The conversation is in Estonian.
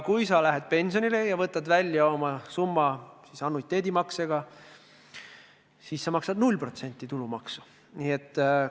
Kui sa lähed pensionile ja võtad oma raha välja annuiteetmaksetena, siis maksad sa tulumaksu 0%.